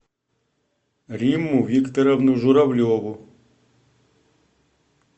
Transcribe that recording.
римму викторовну журавлеву